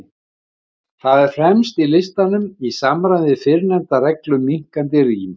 Það er fremst í listanum, í samræmi við fyrrnefnda reglu um minnkandi rím.